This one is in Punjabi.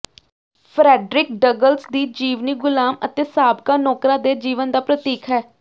ਫਰੈਡਰਿਕ ਡਗਲਸ ਦੀ ਜੀਵਨੀ ਗੁਲਾਮ ਅਤੇ ਸਾਬਕਾ ਨੌਕਰਾਂ ਦੇ ਜੀਵਨ ਦਾ ਪ੍ਰਤੀਕ ਹੈ